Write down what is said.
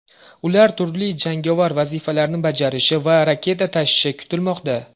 Ular turli jangovar vazifalarni bajarishi va raketa tashishi kutilmoqda.